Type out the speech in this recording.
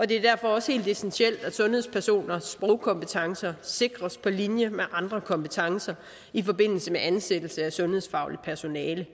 det er derfor også helt essentielt at sundhedspersoners sprogkompetencer sikres på linje med andre kompetencer i forbindelse med ansættelse af sundhedsfagligt personale